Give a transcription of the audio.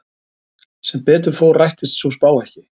Sem betur fór rættist sú spá ekki.